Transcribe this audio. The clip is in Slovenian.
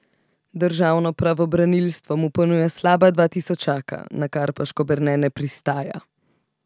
Državno pravobranilstvo mu ponuja slaba dva tisočaka, na kar pa Škoberne ne pristaja.